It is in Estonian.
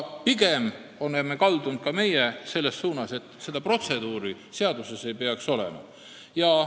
Pigem oleme ka meie kaldunud selles suunas, et seda protseduuri seaduses ei peaks olema.